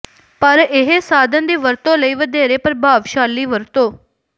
ਪਰ ਇਹ ਸਾਧਨ ਦੀ ਵਰਤੋਂ ਲਈ ਵਧੇਰੇ ਪ੍ਰਭਾਵਸ਼ਾਲੀ ਵਰਤੋਂ